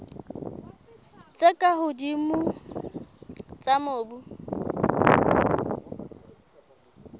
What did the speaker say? tse ka hodimo tsa mobu